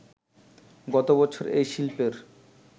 গতবছর এই শিল্পের